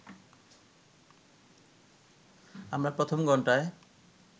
আমরা প্রথম ঘন্টায়